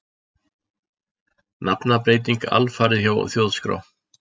Nafnabreyting alfarið hjá Þjóðskrá